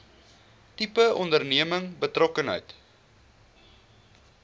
tipe onderneming betrokkenheid